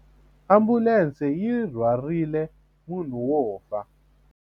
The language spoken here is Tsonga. Ambulense yi rhwarile munhu wo fa.